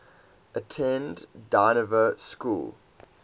attended dynevor school